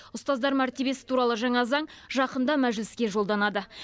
ұстаздар мәртебесі туралы жаңа заң жақында мәжіліске жолданады